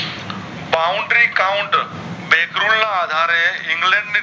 Boundary count બે ત્રણ આધારે ઇંગ્લેન્ડ ને